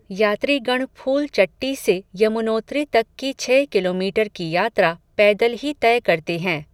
यात्रीगण फूलचट्टी से यमुनोत्री तक की छह किलोमीटर की यात्रा पैदल ही तय करते हैं.